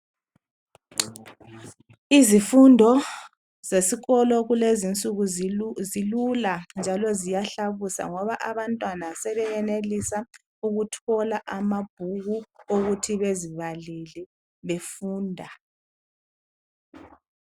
Izifundo zesikolo zakulezi insuku ziyahlabusa njalo abantwana sebeyenelisa ukuthola amabhuku ukuthi bezibalele befunda.